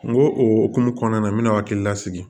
N go o hokumu kɔnɔna na n mɛna hakili lasigi